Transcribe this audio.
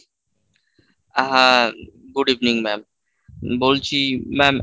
আহ হ্যাঁ good evening mam বলছি mam